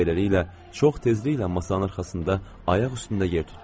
Beləliklə, çox tezliklə masanın arxasında ayaq üstündə yer tutdum.